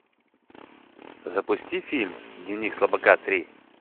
запусти фильм дневник слабака три